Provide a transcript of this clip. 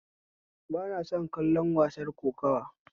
Ba na son kallon wasar kokuwa